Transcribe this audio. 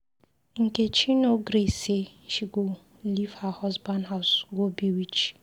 Nkechi no gree say she go leave her husband house go be witch